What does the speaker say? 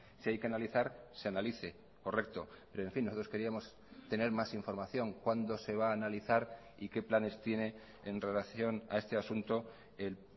si hay que analizar se analice correcto pero en fin nosotros queríamos tener más información cuando se va a analizar y qué planes tiene en relación a este asunto el